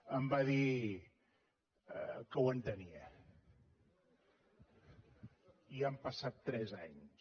em va dir que ho entenia i han passat tres anys